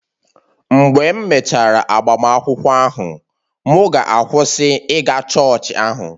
Mgbe m mechara agbamakwụkwọ ahụ, mụ ga-akwụsị ịga chọọchị ahụ